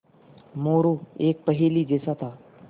मोरू एक पहेली जैसा था